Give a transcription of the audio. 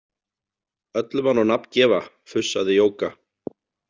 Öllu má nú nafn gefa, fussaði Jóka.